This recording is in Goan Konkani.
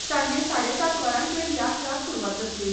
सांजे साडे सात वरांचेर या खेळाक सुरूवात जातली.